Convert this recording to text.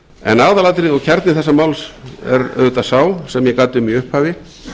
en aðalatriði og kjarni þessa máls er auðvitað sá sem ég gat um í upphafi